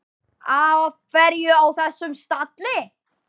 Af hverju á þessum stalli?